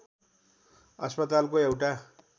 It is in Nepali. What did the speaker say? अस्पतालको एउटा